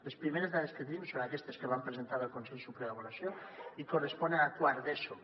les primeres dades que tenim són aquestes que vam presentar al consell superior d’avaluació i corresponen a quart d’eso